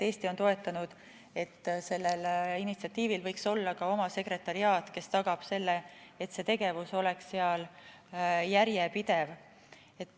Eesti on toetanud mõtet, et sellel initsiatiivil võiks olla ka oma sekretariaat, kes tagab selle, et see tegevus oleks seal järjepidev.